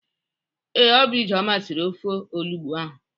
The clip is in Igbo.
Ee, Ọ bụ Ijeọma siri ofe olugbụ ahụ.